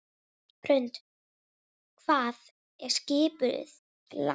Hrund: Hvað er skipið langt?